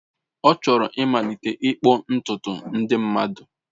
Ọ chọrọ ịmalite ịkpụ ntutu ndị mmadụ.